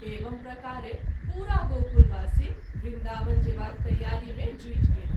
एवं प्रकारे पूरा गोकुलवासी वृन्दावन जेबाक तैयारी मे जुटि गेल।